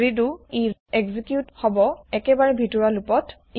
ৰিদো ই এক্সেকিউত হব একেবাৰে ভিতৰুৱা লুপ ত